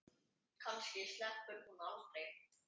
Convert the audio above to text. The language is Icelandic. Kannski sleppur hún aldrei.